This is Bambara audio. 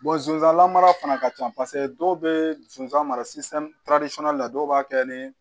zonzan mara fana ka ca paseke dɔw bɛ zonzan mara la dɔw b'a kɛ ni